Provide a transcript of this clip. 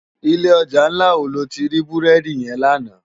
Ilé òjá nlá wó lóti rá búrèdi yèn làná?